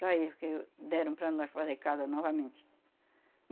Para aí, porque deram para nós fazer casa novamente.